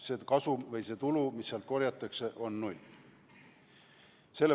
See kasum või tulu, mis sealt korjatakse, on null.